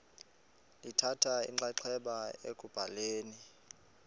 lithatha inxaxheba ekubhaleni